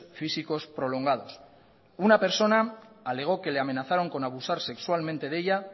físicos prolongados una persona alegó que le amenazaron con abusar sexualmente de ellas